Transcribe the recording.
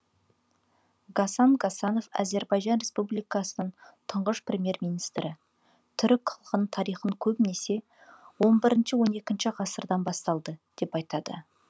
гасан гасанов әзербайжан республикасының тұңғыш премьер министрі түрік халқының тарихын көбінесе он бірінші он екінші ғасырдан басталды деп айтады